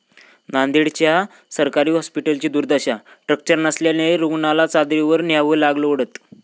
नांदेड्च्या सरकारी हॉस्पिटलची दुर्दशा, स्ट्रेचर नसल्यानं रूग्णाला चादरीवर न्यावं लागलं ओढत